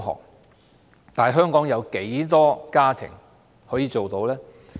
然而，香港有多少家庭可以做到？